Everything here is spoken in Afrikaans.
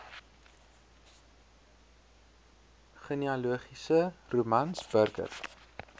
genealogiese romans burger